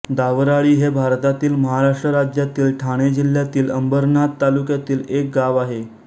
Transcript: दावराळी हे भारतातील महाराष्ट्र राज्यातील ठाणे जिल्ह्यातील अंबरनाथ तालुक्यातील एक गाव आहे